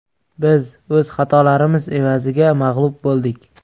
Biz o‘z xatolarimiz evaziga mag‘lub bo‘ldik.